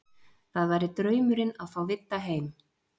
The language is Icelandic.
Það væri draumurinn að fá Vidda heim.